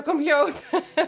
kom hljóð